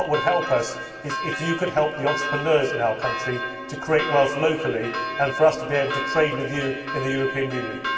What would help them would be for us to help the entrepreneurs in their country to create wealth locally, and for them to be able to trade with us in the European Union.